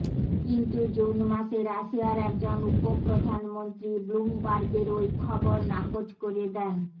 কিন্তু জুন মাসে রাশিয়ার একজন উপ প্রধানমন্ত্রী ব্লুমবার্গের ওই খবর নাকচ করে দেন